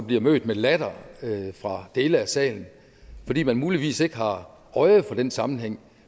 bliver mødt med latter fra dele af salen fordi man muligvis ikke har øje for den sammenhæng